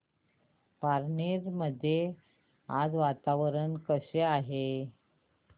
पारनेर मध्ये आज वातावरण कसे आहे